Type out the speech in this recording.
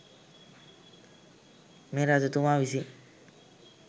මේ රජතුමා විසින්